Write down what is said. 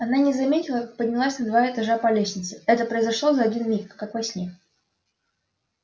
она не заметила как поднялась на два этажа по лестнице это произошло за один миг как во сне